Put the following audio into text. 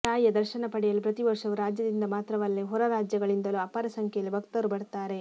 ತಾಯಿಯ ದರ್ಶನ ಪಡೆಯಲು ಪ್ರತಿವರ್ಷವೂ ರಾಜ್ಯದಿಂದ ಮಾತ್ರವಲ್ಲೇ ಹೊರರಾಜ್ಯಗಳಿಂದಲೂ ಅಪಾರ ಸಂಖ್ಯೆಯಲ್ಲಿ ಭಕ್ತರು ಬರ್ತಾರೆ